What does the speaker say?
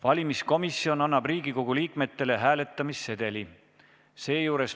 Valimiskomisjon annab Riigikogu liikmele hääletamissedeli.